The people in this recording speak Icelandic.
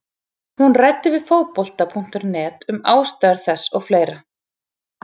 Hún ræddi við Fótbolta.net um ástæður þess og fleira.